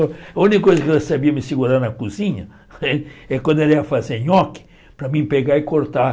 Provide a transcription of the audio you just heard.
A única coisa que ela sabia me segurar na cozinha, é quando ela ia fazer nhoque, para mim pegar e cortar.